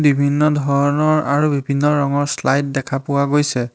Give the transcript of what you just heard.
বিভিন্ন ধৰণৰ আৰু বিভিন্ন ৰঙৰ শ্লাইড দেখা পোৱা গৈছে।